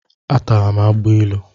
Atara m agbailu.